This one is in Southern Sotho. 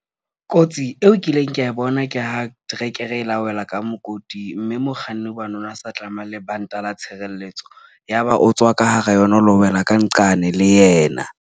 Kotsi eo kileng ka e bona ke ha trekere e la wela ka mokoting. Mme mokganni, hobane o ne a sa tlameha lebanta la tshireletso, ya ba o tswa ka hara yona, o lo wela ka nqane le yena.